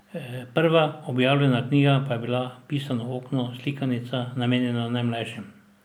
Prva objavljena knjiga pa je bila Pisano okno, slikanica, namenjena najmlajšim.